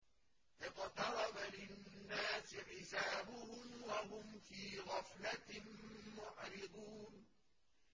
اقْتَرَبَ لِلنَّاسِ حِسَابُهُمْ وَهُمْ فِي غَفْلَةٍ مُّعْرِضُونَ